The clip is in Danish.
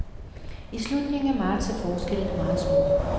I slutningen af marts er forskellene meget små.